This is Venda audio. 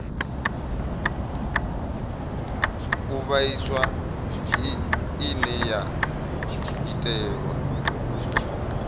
u vhaisa ine ya itelwa